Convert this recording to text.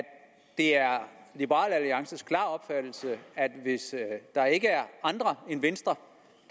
det er liberal alliances klare opfattelse at hvis der ikke er andre end venstre